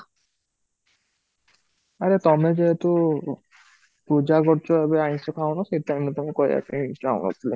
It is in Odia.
ଆରେ ତମେ ଯେହେତୁ ପୂଜା କରୁଚ ଏବେ ଆଇଁସ ଖାଉନ ସେଥିପାଇଁ ମୁଁ ତାଂକୁ କହିବାକୁ ଚାହୁଁନଥିଲି